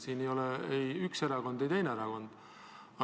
Selle taga pole ei üks erakond ega teine erakond.